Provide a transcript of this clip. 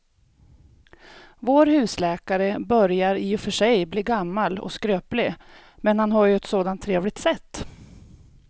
Vår husläkare börjar i och för sig bli gammal och skröplig, men han har ju ett sådant trevligt sätt!